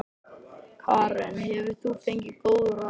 Karen: Hefur þú fengið góð ráð?